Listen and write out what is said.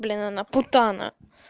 блин она путана